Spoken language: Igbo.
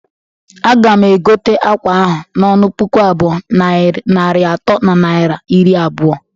Aga m egote akwa ahụ n'ọnụ puku abụọ, narị atọ na naira iri abụọ